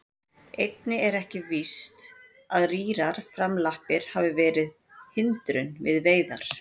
Einnig er ekki víst að rýrar framlappir hafi verið hindrun við veiðar.